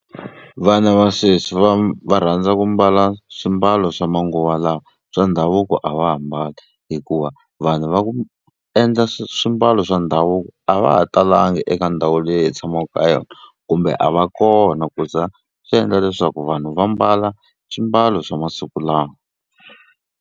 Vana va sweswi va va rhandza ku mbala swimbalo swa manguva lawa swa ndhavuko a va ha mbali hikuva vanhu va ku endla swimbalo swa ndhavuko davuko a va ha talanga eka ndhawu leyi hi tshamaka ka yona kumbe a va kona ku za swi endla leswaku vanhu va mbala swimbalo swa masiku lawa.